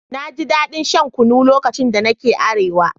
Na ji daɗin shan kunu lokacin da nake Arewa